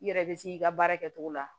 I yɛrɛ be se k'i ka baara kɛ cogo la